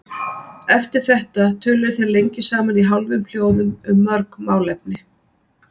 Eftir þetta töluðu þeir lengi saman í hálfum hljóðum um mörg málefni.